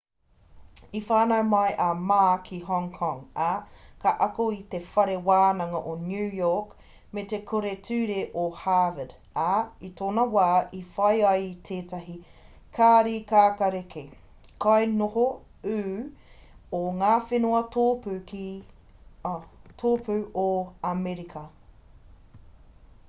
i whānau mai a ma ki hong kong ā ka ako ki te whare wānanga o new york me te kura ture o harvard ā i tōna wā i whai ia i tētahi kāri kākāriki kainoho ū o ngā whenua tōpū o amerika